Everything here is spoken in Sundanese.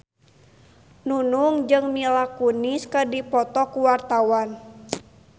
Nunung jeung Mila Kunis keur dipoto ku wartawan